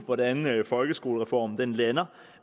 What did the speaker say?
hvordan folkeskolereformen lander